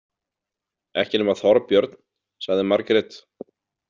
Ekki nema Þorbjörn, sagði Margrét.